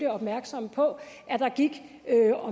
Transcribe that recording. opmærksom på at der gik